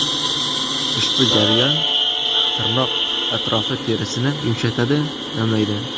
Ushbu jarayon tirnoq atrofi terisini yumshatadi, namlaydi.